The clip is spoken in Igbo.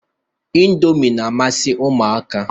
Indọmi na-amasị Ụmụaka